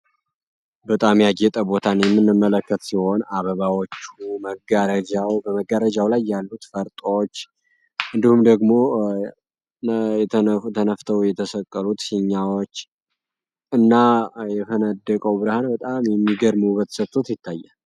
በጣሚ ያጌጠ ቦታን የምንመለከት ሲሆን አበባዎቹ መጋረጃው በመጋረጃው ላይ ያሉት ፈርጣዎች እንዲሁም ደግሞ ተነፍተው የተሰቀሉት ፊኛዎች እና የፈነደቀው ብርሃን በጣም የሚገርም ውበት ሰጦት ይታያል።